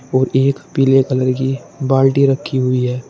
और एक पीले कलर की बाल्टी रखी हुई है।